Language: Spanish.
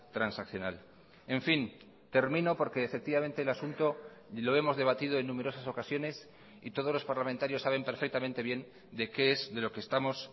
transaccional en fin termino porque efectivamente el asunto y lo hemos debatido en numerosas ocasiones y todos los parlamentarios saben perfectamente bien de qué es de lo que estamos